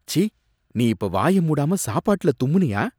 ச்சீ, நீ இப்ப வாய மூடாம சாப்பாட்டுல தும்முனியா?